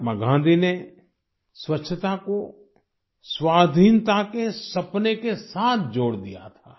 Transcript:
महात्मा गाँधी ने स्वच्छता को स्वाधीनता के सपने के साथ जोड़ दिया था